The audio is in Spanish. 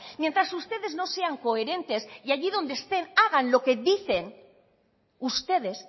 mientras ustedes no sean coherentes y allí donde estén hagan lo que dicen ustedes